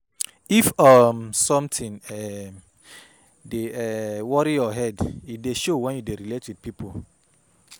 If um sometin um dey um worry your head, e dey show wen you dey relate wit pipo.